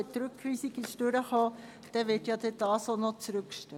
Falls die Rückweisung angenommen wird, wird dieser dann auch noch zurückgestellt.